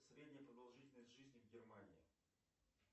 средняя продолжительность жизни в германии